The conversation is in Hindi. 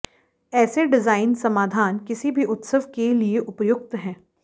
ऐसे डिजाइन समाधान किसी भी उत्सव के लिए उपयुक्त है